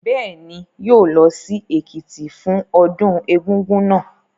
Bẹ́ẹ̀ ni, yóò lọ sí Èkìtì fún ọdún Egúngún náà.